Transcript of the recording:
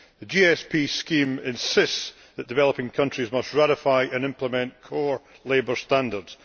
The GSP scheme insists that developing countries must ratify and implement core labour standards.